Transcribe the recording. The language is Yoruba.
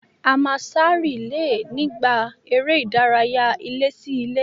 A máa sá rìílè nígbà eré ìdárayá ilé-sí-ilé